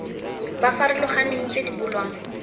ba farologaneng tse di bulwang